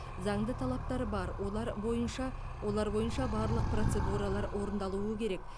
заңды талаптар бар олар бойынша олар бойынша барлық процедуралар орындалуы керек